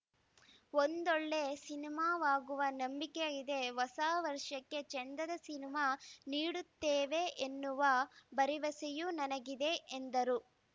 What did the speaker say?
ಒಂದೊಳ್ಳೆ ಸಿನಿಮಾವಾಗುವ ನಂಬಿಕೆಯಿದೆ ಹೊಸ ವರ್ಷಕ್ಕೆ ಚೆಂದದ ಸಿನಿಮಾ ನೀಡುತ್ತೇವೆ ಎನ್ನುವ ಭರವಸೆಯೂ ನನಗಿದೆ ಎಂದರು